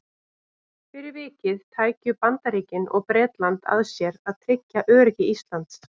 Fyrir vikið tækju Bandaríkin og Bretland að sér að tryggja öryggi Íslands.